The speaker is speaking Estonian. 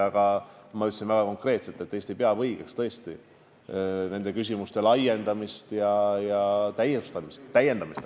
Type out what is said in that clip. Tegelikult ma ütlesin väga konkreetselt, et Eesti peab tõesti õigeks nende sanktsioonide laiendamist ja täiendamist.